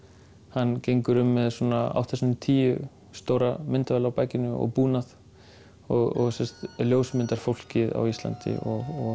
hann gengur um með átta sinnum tíu stóra myndavél á bakinu og búnað og ljósmyndar fólkið á Íslandi og